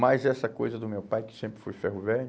Mas essa coisa do meu pai, que sempre foi ferro velho,